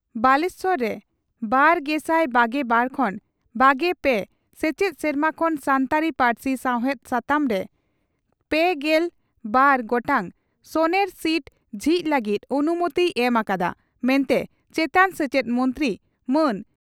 ᱵᱟᱞᱮᱥᱚᱨ ᱨᱮ ᱒᱐᱒᱒ᱼ᱒᱓ ᱥᱮᱪᱮᱫ ᱥᱮᱨᱢᱟ ᱠᱷᱚᱱ ᱥᱟᱱᱛᱟᱲᱤ ᱯᱟᱹᱨᱥᱤ ᱥᱟᱶᱦᱮᱫ ᱥᱟᱛᱟᱢ ᱨᱮ ᱓᱒ ᱜᱚᱴᱟᱝ ᱥᱚᱱᱮᱨ ᱥᱤᱴ ᱡᱷᱤᱡᱽ ᱞᱟᱹᱜᱤᱫ ᱚᱱᱩᱢᱚᱛᱤᱭ ᱮᱢ ᱟᱠᱟᱫᱼᱟ ᱢᱮᱱᱛᱮ ᱪᱮᱛᱟᱱ ᱥᱮᱪᱮᱫ ᱢᱚᱱᱛᱨᱤ ᱢᱟᱱ